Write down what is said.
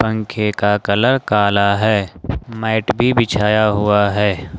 पंखे का कलर काला है मैट भी बिछाया हुआ है।